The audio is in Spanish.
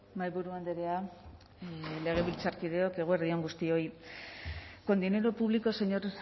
mahaiburu andrea legebiltzarkideok eguerdi on guztioi con dinero público señor